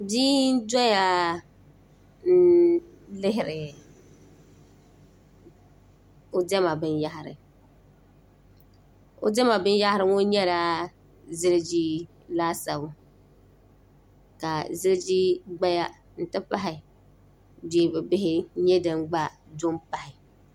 bia n doya n lihiri o diɛma binyahari o Diɛma binyahri ŋo nyɛla ziliji laasabu ka ziliji gbaya n ti pahi beebi bihi nyɛ din gba do n pahi